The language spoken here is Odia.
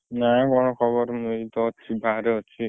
ନାଇଁ କଣ ଖବର ମୁଁ ଏଇ ତ ଅଛି ଗାଁ ରେ ଅଛି।